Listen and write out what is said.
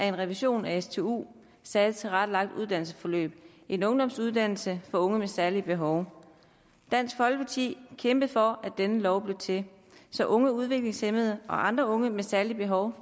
en revision af stu det særligt tilrettelagte uddannelsesforløb en ungdomsuddannelse for unge med særlige behov dansk folkeparti kæmpede for at denne lov blev til så unge udviklingshæmmede og andre unge med særlige behov